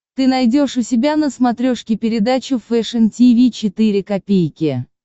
ты найдешь у себя на смотрешке передачу фэшн ти ви четыре ка